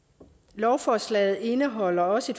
lovforslaget indeholder også